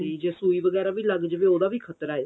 ਵੀ ਤੇ ਜੇ ਸੂਈ ਵਗੈਰਾ ਵੀ ਲੱਗ ਜਵੇ ਉਹਦਾ ਵੀ ਖਤਰਾ ਏ